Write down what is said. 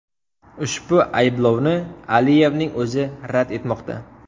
Ushbu ayblovni Aliyevning o‘zi rad etmoqda.